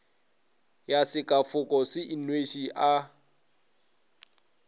ya sekafoko se inweše a